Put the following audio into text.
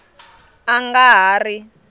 a a nga ha ri